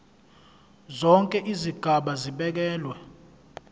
zonke izigaba zibekelwe